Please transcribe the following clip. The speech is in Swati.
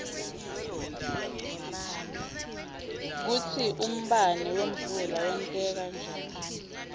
kutsi umbane wemvula wenteka njani